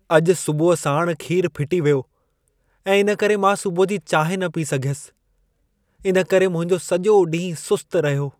अॼु सुबुह साण खीर फिटी वियो ऐं इन करे मां सुबुह जी चांहिं न पी सघियसि। इन करे मुंहिंजो सॼो ॾींहुं सुस्त रहियो।